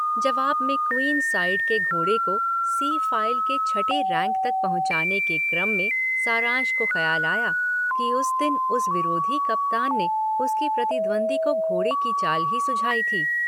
जवाब में queen side के घोड़े को सी फाइव के छठे रैंक तक पहुंचाने के क्रम में सारांश को खयाल आया कि उस दिन उस विरोधी कप्तान ने उसके प्रतिद्वंद्वी को घोड़े की चाल ही सुझाई थी।